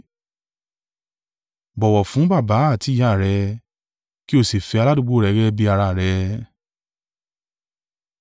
bọ̀wọ̀ fún baba àti ìyá rẹ. ‘Kí o sì fẹ́ aládùúgbò rẹ gẹ́gẹ́ bí ara rẹ.’ ”